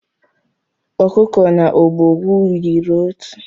Ọkụkọ na ọbọgwụ yiri otu